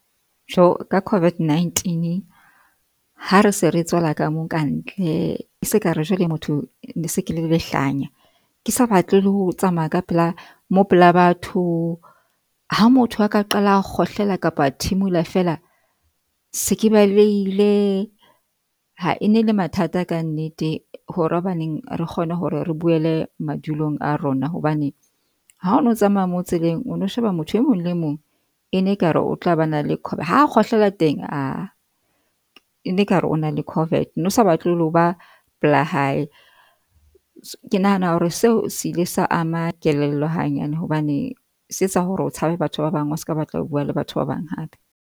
Jo ka COVID-19 ha re se re tswela ka mo kantle, se kare jwale motho se ke le lehlanya, ke sa batle le ho tsamaya ka pela mo pela batho. Ha motho a ka qala a kgohlela kapa a thimula, fela, se ke balehile ha enele mathata ka nnete, hore hobaneng re kgone hore re boele madulong a rona. Hobane ha o no tsamaya mo tseleng o no sheba motho e mong le mong ene ekare o tla ba na le ha kgohlela teng a ene ka re o na le COVID. O no sa batle le ho ba pela hae. Ke nahana hore seo se ile sa ama kelello hanyane hobane, se etsa hore o tshabe batho ba bang. O ska batla ho bua le batho ba bang hape.